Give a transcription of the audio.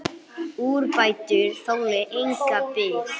Úrbætur þoli enga bið.